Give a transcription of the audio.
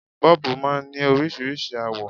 Bọ́ọ̀bù máa ń ní oríṣiríṣi àwọ̀